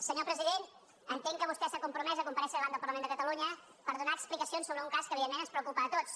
senyor president entenc que vostè s’ha compromès a comparèixer davant del parlament de catalunya per donar explicacions sobre un cas que evidentment ens preocupa a tots